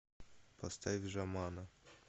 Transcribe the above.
поставь жамана